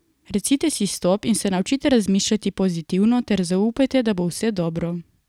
Recite si stop in se naučite razmišljati pozitivno ter zaupajte, da bo vse dobro.